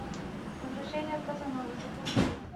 возвращение казановы запусти